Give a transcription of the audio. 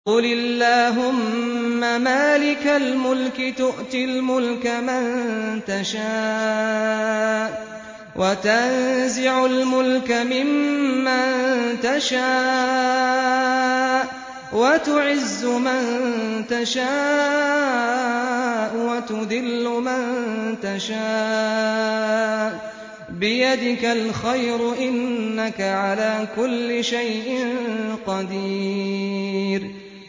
قُلِ اللَّهُمَّ مَالِكَ الْمُلْكِ تُؤْتِي الْمُلْكَ مَن تَشَاءُ وَتَنزِعُ الْمُلْكَ مِمَّن تَشَاءُ وَتُعِزُّ مَن تَشَاءُ وَتُذِلُّ مَن تَشَاءُ ۖ بِيَدِكَ الْخَيْرُ ۖ إِنَّكَ عَلَىٰ كُلِّ شَيْءٍ قَدِيرٌ